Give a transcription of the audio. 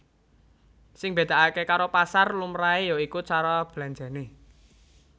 Sing mbedakake karo pasar lumrahe ya iku cara belanjane